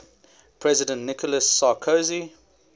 president nicolas sarkozy